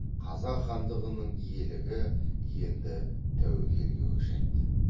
қазақ хандығының иелігі енді тәуекелге көшеді